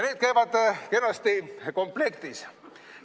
Need käivad kenasti komplektis.